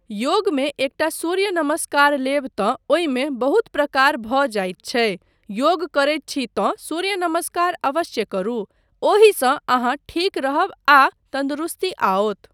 योगमे एकटा सूर्य नमस्कार लेब तँ ओहिमे बहुत प्रकार भऽ जाइत छै, योग करैत छी तँ सूर्य नमस्कार अवश्य करू। ओहिसँ अहाँ ठीक रहब आ तन्दुरस्ती आओत।